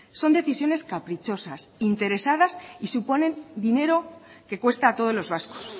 son decisiones caprichosas interesadas y suponen dinero que cuesta a todos los vascos